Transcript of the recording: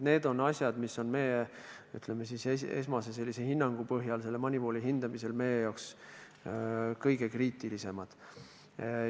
Need on siis asjad, mis meie esmase hinnangu põhjal on MONEYVAL-i hindamise puhul meie jaoks kõige kriitilisemad.